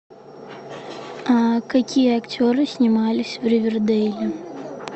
какие актеры снимались в ривердейле